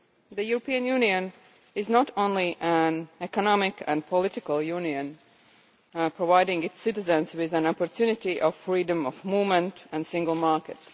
The European Union is not only an economic and political union, providing its citizens with an opportunity of freedom of movement and a single market.